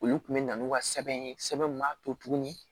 Olu kun bɛ na n'u ka sɛbɛn ye sɛbɛn min b'a to tuguni